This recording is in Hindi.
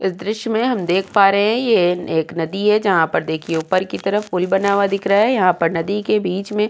इस दृश्य में हम देख पा रहे हैं ये एक नदी है जहां पर देखिए ऊपर की तरफ पूल बना हुआ दिख रहा है। यहाँ पर नदी के बीच में --